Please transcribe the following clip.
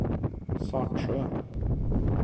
Svartsjö